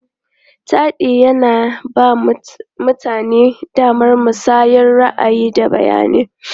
Taɗi yana ba mutane damar musayar ra'ayi, da bayanai.